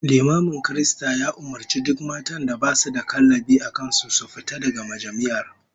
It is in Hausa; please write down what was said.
Limamin kiristan ya umurci duk matan da basu da kallabi a kan su da su fita daga majami'ar